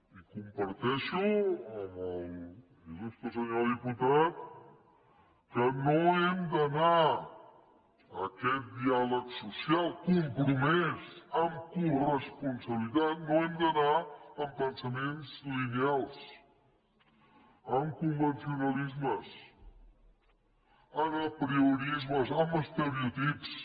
i comparteixo amb l’il·lustre senyor diputat que no hem d’anar a aquest diàleg social compromès amb coresponsabilitat no hem d’anar amb pensaments lineals amb convencionalismes amb apriorismes amb estereotips